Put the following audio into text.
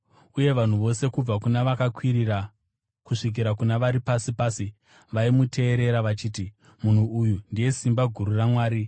uye vanhu vose kubva kuna vakakwirira kusvikira kuna vari pasi pasi, vaimuteerera vachiti, “Munhu uyu ndiye simba guru raMwari.”